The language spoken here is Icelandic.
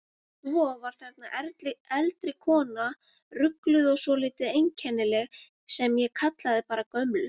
Svo var þarna eldri kona, rugluð og svolítið einkennileg, sem ég kallaði bara gömlu.